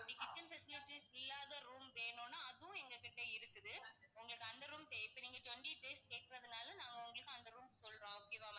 kitchen facilities இல்லாத room வேணுன்னா அதுவும் எங்ககிட்ட இருக்குது. உங்களுக்கு அந்த room தே~ இப்போ நீங்க twenty days கேக்கறதனால நான் உங்களுக்கு அந்த room சொல்றோம் okay வா